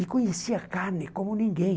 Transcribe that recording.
E conhecia carne como ninguém.